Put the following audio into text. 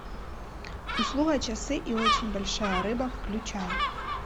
услуга часы и очень большая рыба включай